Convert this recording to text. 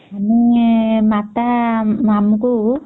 ଆମେ ମାତା ଆମକୁ ..